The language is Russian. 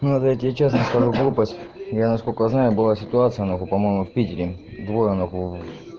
я тебе честно скажу глупость я насколько знаю была ситуация по-моему в питере двое нахуй